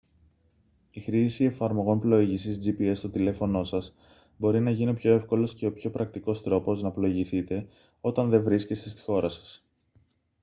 η χρήση εφαρμογών πλοήγησης gps στο τηλέφωνό σας μπορεί να γίνει ο πιο εύκολος και ο πιο πρακτικός τρόπος να πλοηγηθείτε όταν δεν βρίσκεστε στη χώρα σας